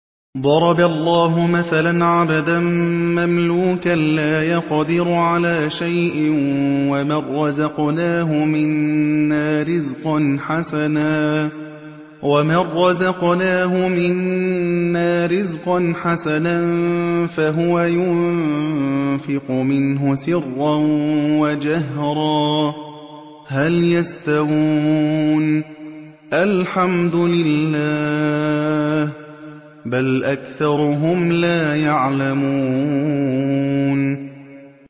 ۞ ضَرَبَ اللَّهُ مَثَلًا عَبْدًا مَّمْلُوكًا لَّا يَقْدِرُ عَلَىٰ شَيْءٍ وَمَن رَّزَقْنَاهُ مِنَّا رِزْقًا حَسَنًا فَهُوَ يُنفِقُ مِنْهُ سِرًّا وَجَهْرًا ۖ هَلْ يَسْتَوُونَ ۚ الْحَمْدُ لِلَّهِ ۚ بَلْ أَكْثَرُهُمْ لَا يَعْلَمُونَ